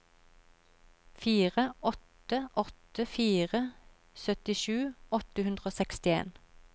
fire åtte åtte fire syttisju åtte hundre og sekstien